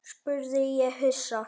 spurði ég hissa.